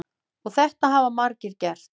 Og þetta hafa margir gert.